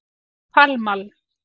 Pall Mall